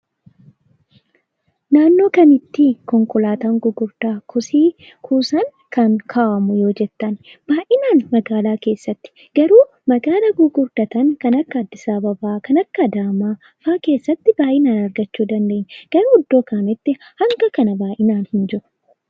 Naannoo kamiitti konkolaataan gurguddaa kosii kuusan kan kaa'amu yoo jettan, baay'inaan magaalaa keessatti. Garuu magaala gurguddatan keessatti kan akka Addis Ababaa, kan akka Adaamaa faa keessatti baay'inaan argachuu ni dandeenya. Garuu iddoo kaanitti hanga kana baay'inaan hin jiru.